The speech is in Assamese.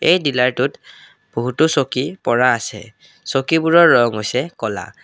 এই দিলাৰটোত বহুতো চকী পৰা আছে চকীবোৰৰ ৰং হৈছে ক'লা।